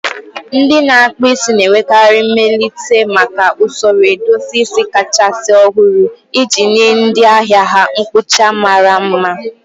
Ndị na-akpụ isi na-enwekarị mmelite maka usoro edozi isi kachasị ọhụrụ iji nye ndị ahịa ha mkpụcha mara mma.